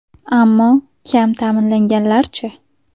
Ammo kam ta’minlanganlar-chi?